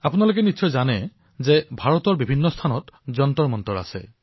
আপোনালোকৰ বহু লোকে এই কথা জানে যে ভাৰতৰ বিভিন্ন স্থানত বহু ভব্য যন্তৰমন্তৰ আছে